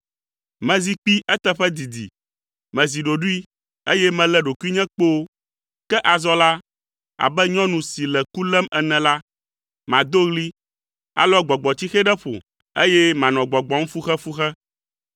“Mezi kpi eteƒe didi, mezi ɖoɖoe, eye melé ɖokuinye kpoo, ke azɔ la, abe nyɔnu si le ku lém ene la, mado ɣli, alɔ gbɔgbɔtsixe ɖe ƒo, eye manɔ gbɔgbɔm fuxefuxe.